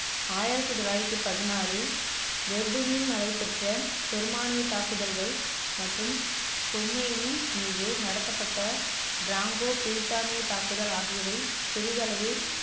ஆயிரத்தி தொள்ளாயிரத்தி பதினாறில் நடைபெற்ற ஜெர்மானிய தாக்குதல்கள் மற்றும் சோமேனியின் மீது நடத்தப்பட்ட ப்ராங்கோ பிரித்தானிய தாக்குதல் ஆகியவை சிறிதளவில்